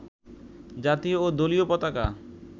জাতীয় ও দলীয় পতাকা